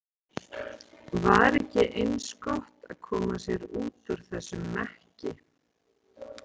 Var ekki eins gott að koma sér út úr þessum mekki?